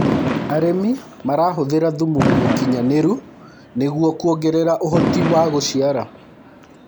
arĩmi marahuthira thumu mũũkĩnyanĩru nĩguo kuongerera uhoti wa guciara